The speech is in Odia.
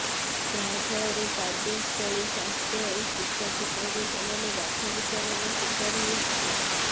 ଯାହାଫଳରେ କାର୍ଯ୍ୟସ୍ଥଳୀ ସ୍ୱାସ୍ଥ୍ୟ ଓ ଶିକ୍ଷା କ୍ଷେତ୍ରରେ ସେମାନେ ବାଛ ବିଚାରର ଶିକାର ହେଉଥିଲେ